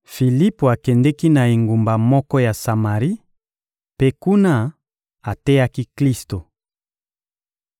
Filipo akendeki na engumba moko ya Samari mpe, kuna, ateyaki Klisto.